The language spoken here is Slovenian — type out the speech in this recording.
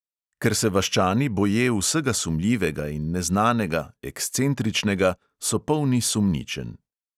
Ker se vaščani boje vsega sumljivega in neznanega, ekscentričnega, so polni sumničenj.